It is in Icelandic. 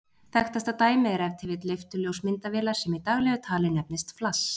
Þekktasta dæmið er ef til vill leifturljós myndavélar, sem í daglegu tali nefnist flass.